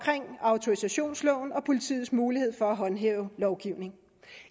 autorisationsloven og politiets mulighed for at håndhæve lovgivningen